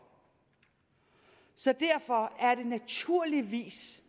så derfor er det naturligvis